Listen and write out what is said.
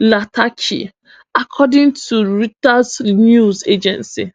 latachi according to di reuters news agency